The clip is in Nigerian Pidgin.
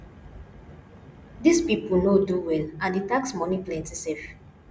dis people no do well and the tax money plenty sef